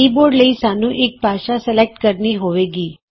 keyboard ਲਈ ਸਾੱਨ੍ਹੂ ਇਕ ਭਾਸ਼ਾ ਸਲੈਕਟ ਕਰਨੀ ਹੋਏਗੀ